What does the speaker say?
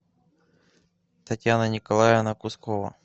татьяна николаевна кускова